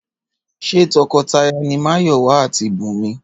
Ṣé tọkọtaya ni Máyọ̀wá àti Bùnmi?